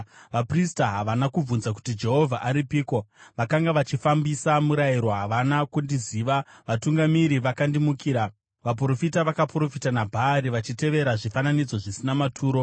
Vaprista havana kubvunza kuti, ‘Jehovha aripiko?’ Vakanga vachifambisa murayiro havana kundiziva; vatungamiri vakandimukira. Vaprofita vakaprofita naBhaari, vachitevera zvifananidzo zvisina maturo.